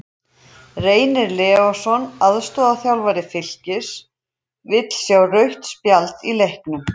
Reynir Leósson, aðstoðarþjálfari Fylkis, vildi sjá rautt spjald í leiknum.